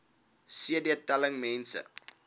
cd telling mense